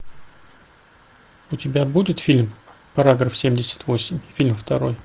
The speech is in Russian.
у тебя будет фильм параграф семьдесят восемь фильм второй